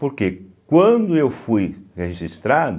Porque quando eu fui registrado,